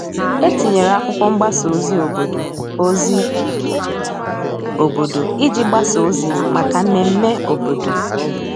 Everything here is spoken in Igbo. E tinyere akwụkwo mgbasa ozi obodo ozi obodo iji gbasa ozi maka mmeme obodo.